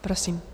Prosím.